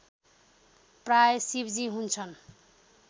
प्रायः शिवजी हुन्छन्